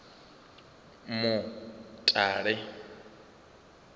mutale